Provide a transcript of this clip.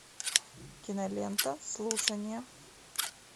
кинолента слушание